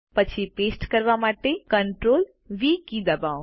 પછી પેસ્ટ કરવા માટે CTRL વી કી ડબાઓ